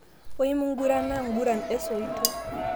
Wou magurana nkuguran esoito